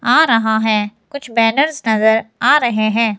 आ रहा हैं कुछ बैनर्स नजर आ रहे हैं।